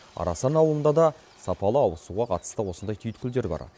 арасан ауылында да сапалы ауызсуға қатысты осындай түйткілдер бар